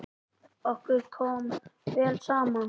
Okkur kom vel saman.